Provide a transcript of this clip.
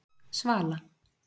Svala